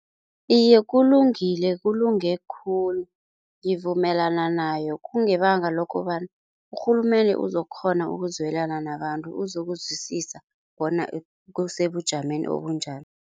Iye, kulungile kulunge khulu ngivumelana nayo kungebanga lokobana urhulumende uzokukghona ukuzwelana nabantu uzokuzwisisa bona kusebujameni.